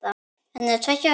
Hann var tveggja ára.